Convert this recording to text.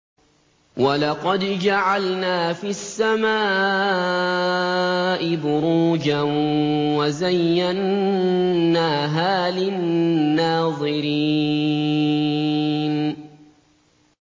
وَلَقَدْ جَعَلْنَا فِي السَّمَاءِ بُرُوجًا وَزَيَّنَّاهَا لِلنَّاظِرِينَ